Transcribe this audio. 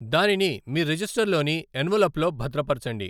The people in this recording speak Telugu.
దానిని మీ రిజిస్టర్లోని ఎన్వలప్లో భద్రపరచండి.